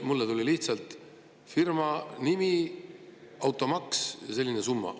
Mulle tuli lihtsalt firma nimele automaks sellises summas.